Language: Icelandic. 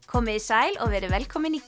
komiði sæl og verið velkomin í